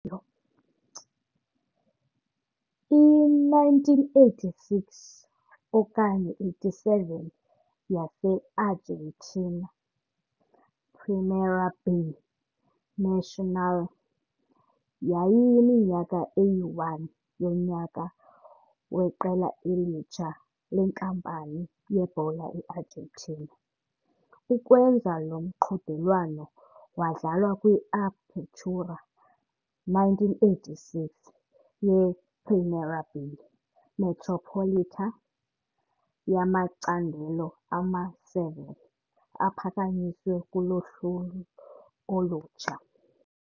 I-1986-87 yase-Argentine Primera B Nacional yayiyiminyaka eyi-1 yonyaka weqela elitsha lenkampani yebhola e-Argentina. Ukwenza lo mqhudelwano wadlala kwi-Apertura 1986 ye-Primera B Metropolitana yamacandelo ama-7 aphakanyiswe kuloluhlu olutsha.